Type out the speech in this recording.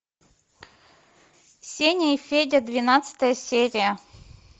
сеня и федя двенадцатая серия